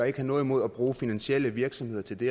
ikke har noget imod at bruge finansielle virksomheder til det